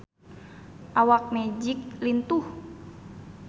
Awak Magic lintuh